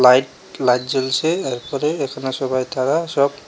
light light জ্বলছে আর উপরে এখানে সবাই তারা সব--